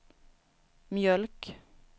mjölk